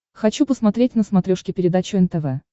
хочу посмотреть на смотрешке передачу нтв